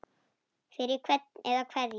Fyrir hvern eða hverja?